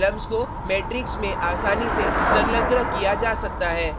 रोज़ rows और columns को matrix में आसानी से संलग्न किया जा सकता है